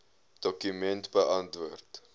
dokument beantwoord